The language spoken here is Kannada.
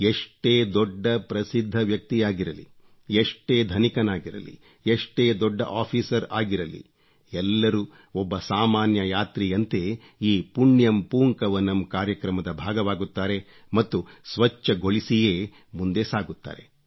ಎಷ್ಟೇ ದೊಡ್ಡ ಪ್ರಸಿದ್ಧ ವ್ಯಕ್ತಿಯಾಗಿರಲಿ ಎಷ್ಟೇ ಧನಿಕನಾಗಿರಲಿ ಎಷ್ಟೇ ದೊಡ್ಡ ಆಫೀಸರ್ ಆಗಿರಲಿ ಎಲ್ಲರೂ ಒಬ್ಬ ಸಾಮಾನ್ಯ ಯಾತ್ರಿಯಂತೆ ಈ ಪುಣ್ಯಂ ಪೂಂಕವನಂ ಪುಣ್ಯಂ ಪೂಂಕವನಂ ಕಾರ್ಯಕ್ರಮದ ಭಾಗವಾಗುತ್ತಾರೆ ಮತ್ತು ಸ್ವಚ್ಚಗೊಳಿಸಿಯೇ ಮುಂದೆ ಸಾಗುತ್ತಾರೆ